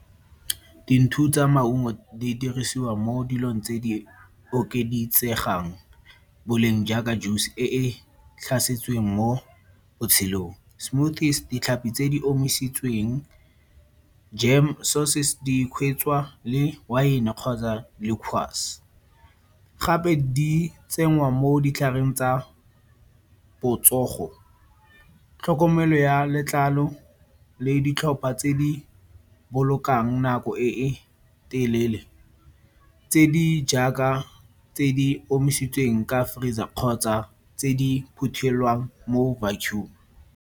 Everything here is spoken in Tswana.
tsa maungo di dirisiwa mo dilong tse di okeditsegang boleng jaaka juice e e tlhasetsweng mo botshelong. Smoothies, ditlhapi tse di omisitsweng, jam sources, le wine kgotsa liqours. Gape di tsengwa mo ditlhareng tsa botsogo, tlhokomelo ya letlalo le ditlhopha tse di bolokang nako e e telele tse di jaaka tse di omisitsweng ka freezer kgotsa tse di phuthelwang mo vacuum.